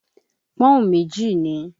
Pọ́n-ún méjì ni.